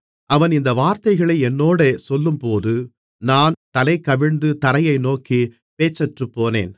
அவன் இந்த வார்த்தைகளை என்னோடே சொல்லும்போது நான் தலைகவிழ்ந்து தரையை நோக்கி பேச்சற்றுப்போனேன்